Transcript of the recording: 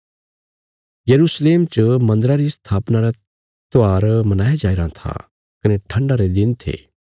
यरूशलेम च मन्दरा री स्थापना रा त्योहार मनाया जाईराँ था कने ठण्डा रे दिन थे